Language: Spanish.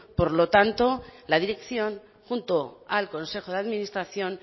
por lo tanto la dirección junto al consejo de administración